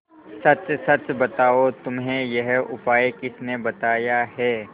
सच सच बताओ तुम्हें यह उपाय किसने बताया है